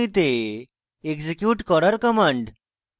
execute করার commands